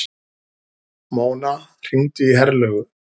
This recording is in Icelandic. Mona, hringdu í Herlaugu.